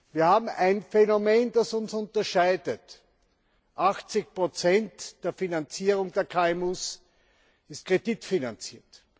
Wir haben ein Phänomen, das uns unterscheidet 80 der Finanzierung der KMUs ist kreditfinanziert.